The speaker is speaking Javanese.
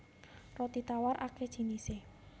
Roti tawar akéh jinisé